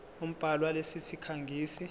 umbhali walesi sikhangisi